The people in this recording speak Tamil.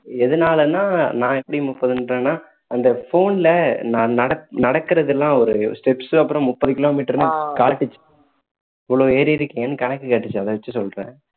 எதுனாலன்னா நான் எப்படி முப்பதுன்றேன்னா அந்த phone ல நான் நடக்~ நடக்குறதுலாம் ஒரு steps அப்பறம் முப்பது kilometer னு காட்டுச்சு இவ்ளோ ஏறி இருக்கேன்னு கணக்கு காட்டுச்சு அதை வச்சி சொல்றேன்